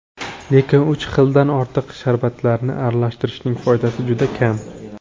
Lekin uch xildan ortiq sharbatlarni aralashtirishning foydasi juda kam.